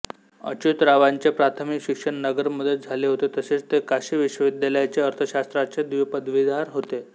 अच्युतरावांचे प्राथमिक शिक्षण नगर मध्ये झाले होते तसेच ते काशी विश्वविद्यालयाचे अर्थशास्त्राचे द्विपदवीधर होते